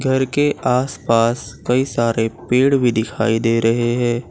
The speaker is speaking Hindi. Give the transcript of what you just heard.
घर के आस पास कई सारे पेड़ भी दिखाई दे रहे हैं।